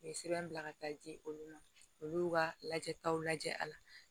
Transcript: U ye sɛbɛn bila ka taa di olu ma olu y'u ka lajɛtaw lajɛ a la